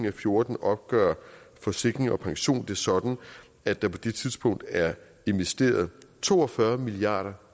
og fjorten opgør forsikring pension det sådan at der på det tidspunkt er investeret to og fyrre milliard